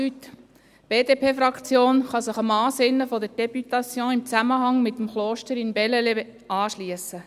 Die BDP-Fraktion kann sich dem Ansinnen der Députation im Zusammenhang mit dem Kloster in Bellelay anschliessen.